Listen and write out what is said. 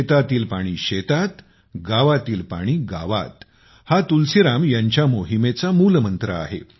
शेतातील पाणी शेतात गावातील पाणी गावात हा तुलसीराम यांच्या मोहिमेचा मूलमंत्र आहे